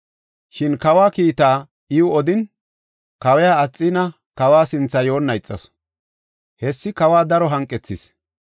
Shin kawa kiitaa iw odin, kawiya Asxiina kawa sinthe yoonna ixasu. Hessi kawa daro hanqethis.